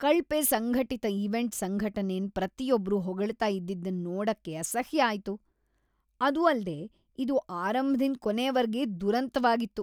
ಕಳ್ಪೆ ಸಂಘಟಿತ ಈವೆಂಟ್ ಸಂಘಟನೆನ್ ಪ್ರತಿಯೊಬ್ರೂ ಹೊಗಳ್ತಾ ಇದ್ದಿದನ್ ನೋಡಕ್ಕೆ ಅಸಹ್ಯ ಆಯ್ತು, ಅದು ಅಲ್ದೆ ಇದು ಆರಂಭದಿಂದ್ ಕೊನೆವರ್ಗೆ ದುರಂತವಾಗಿತ್ತು.